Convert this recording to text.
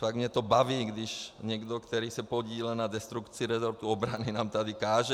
Fakt mě to baví, když někdo, kdo se podílel na destrukci resortu obrany, nám tady káže.